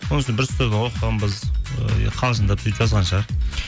оның үстіне бір оқығанбыз ыыы қалжындап сөйтіп жазған шығар